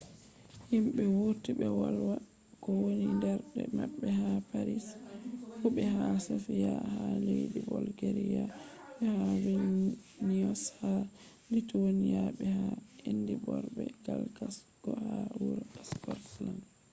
himɓe wurti ɓe wolwa ko woni mbernde maɓɓe ha paris fu be ha sofiya ha leddi bolgeriya be ha vilniyos ha lituweniya be ha edinborg be glasgo ha wuro skotland